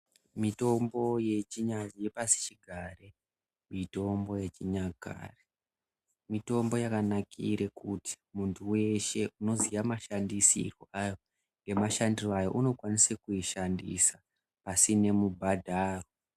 Mitombo yepasichigare , mitombo yechinyakare, mitombo yakanakire kuti muntu weshe unoziya mashandisirwe ayo, unokwanise kuishandise pasine mubhadharo.